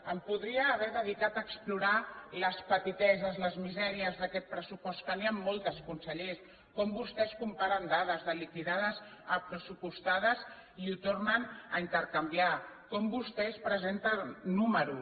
em podria haver dedicat a explorar les petiteses les misèries d’aquest pressupost que n’hi han moltes conseller com vostès comparen dades de liquidades a pressupostades i ho tornen a intercanviar com vostès presenten números